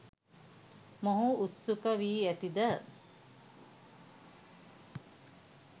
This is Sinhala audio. මොහු උත්සුක වී ඇතිද?